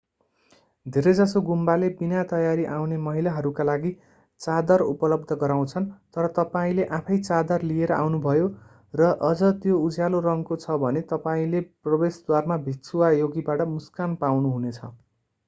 धेरैजसो गुम्बाले विनातयारी आउने महिलाहरूका लागि चादर उपलब्ध गराउँछन् तर तपाईंले आफैं चादर लिएर आउनुभयो र अझ त्यो उज्यालो रङको छ भने तपाईंले प्रवेशद्वारमा भिक्षु वा योगीबाट मुस्कान पाउनुहुनेछ